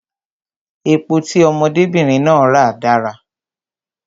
Epo tí ọmọdé bìnrin náà ra dára